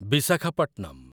Visakhapatnam